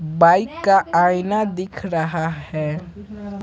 Bike का आईना दिख रहा है।